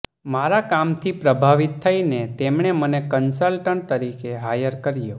મારા કામથી પ્રભાવિત થઈને તેમણે મને કન્સલ્ટન્ટ તરીકે હાયર કર્યાે